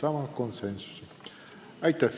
Aitäh!